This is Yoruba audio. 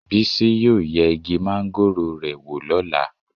Bísí yóò yẹ igi máńgòrò rẹ̀ wò lọ́la.